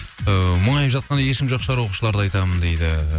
ыыы мұңайып жатқан ешкім жоқ шығар оқушыларды айтамын дейді